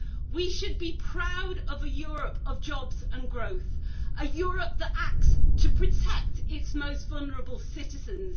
We should be proud of a Europe of jobs and growth, a Europe that acts to protect its most vulnerable citizens.